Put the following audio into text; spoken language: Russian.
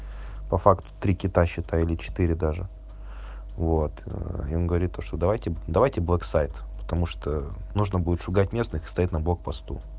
по факту три кита считай или четыре даже вот и он говорит то что давайте давайте блэк-сайт потому что нужно будет шугать местных и стоять на блог посту